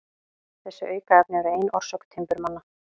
Þessi aukaefni eru ein orsök timburmanna.